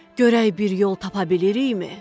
Görək bir yol tapa bilirikmi?